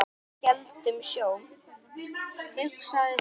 Við héldum sjó.